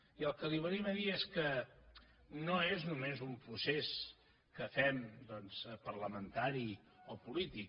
i el que li venim a dir és que no és només un procés que fem doncs parlamentari o polític